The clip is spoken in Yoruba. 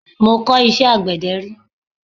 Mọ kọ̀ iṣẹ́ àgbẹ̀dẹ rí.